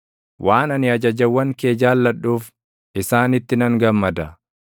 waan ani ajajawwan kee jaalladhuuf, isaanitti nan gammada.